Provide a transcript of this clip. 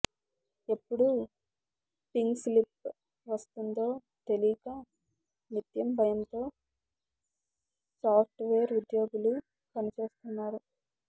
ఎప్పుడు పింక్స్లిప్ వస్తుందో తెలియక నిత్యం భయంతో సాఫ్ట్వేర్ ఉద్యోగులు పనిచేస్తున్నారు